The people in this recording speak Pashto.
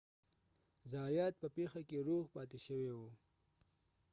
زایات په پیښه کې روغ پاتې شوی و